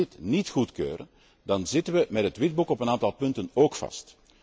Als we dit niet goedkeuren, dan zitten we met het Witboek op een aantal punten ook vast.